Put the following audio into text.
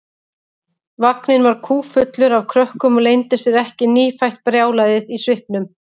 Vagninn var kúffullur af krökkum og leyndi sér ekki nýfætt brjálæðið í svipnum.